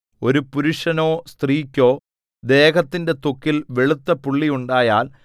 ഒരു പുരുഷനോ സ്ത്രീക്കോ ദേഹത്തിന്റെ ത്വക്കിൽ വെളുത്ത പുള്ളി ഉണ്ടായാൽ